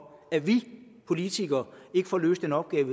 at vi politikere ikke får løst en opgave